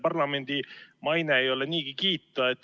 Parlamendi maine ei ole niigi kiita.